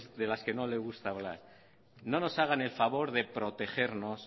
de las que no les gusta hablar no nos hagan el favor de protegernos